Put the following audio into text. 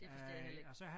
Det forstår jeg heller ikke